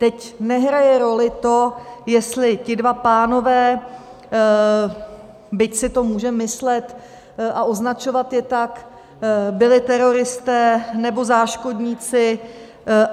Teď nehraje roli to, jestli ti dva pánové, byť si to můžeme myslet a označovat je tak, byli teroristé, nebo záškodníci.